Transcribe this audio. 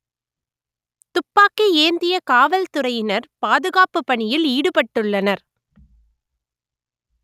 துப்பாக்கி ஏந்திய காவல்துறையினர் பாதுகாப்பு பணியில் ஈடுபட்டுள்ளனர்